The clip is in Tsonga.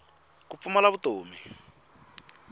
ku pfumala vutomi